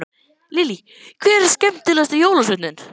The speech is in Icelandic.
Lillý: Hver er skemmtilegast jólasveinninn?